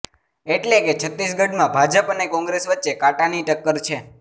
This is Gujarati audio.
એટલે કે છત્તીસગઢમાં ભાજપ અને કોંગ્રેસ વચ્ચે કાંટાની ટક્કર છે